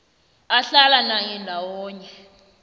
ahlala naye ndawonye